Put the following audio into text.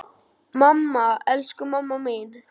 Mamma, elsku mamma mín.